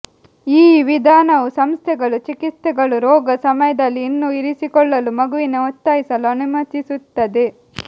ಈ ವಿಧಾನವು ಸಂಸ್ಥೆಗಳು ಚಿಕಿತ್ಸೆಗಳು ರೋಗ ಸಮಯದಲ್ಲಿ ಇನ್ನೂ ಇರಿಸಿಕೊಳ್ಳಲು ಮಗುವಿನ ಒತ್ತಾಯಿಸಲು ಅನುಮತಿಸುತ್ತದೆ